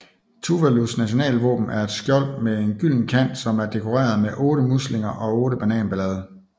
Tuvalus nationalvåben er et skjold med en gylden kant som er dekoreret med otte muslinger og otte bananblade